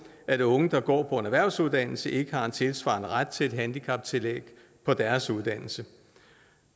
at unge der går på en erhvervsuddannelse ikke har en tilsvarende ret til et handicaptillæg på deres uddannelse